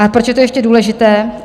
A proč je to ještě důležité?